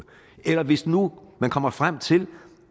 eller hvis nu man kommer frem til